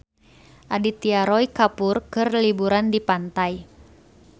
Aditya Roy Kapoor keur liburan di pantai